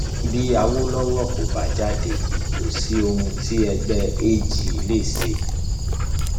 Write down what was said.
bí awolowo kò bá jáde kò sí ohun tí ẹgbẹ ag lè ṣe